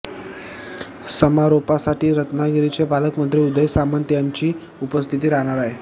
समारोपासाठी रत्नागिरीचे पालकमंत्री उदय सामंत यांची उपस्थिती राहणार आहे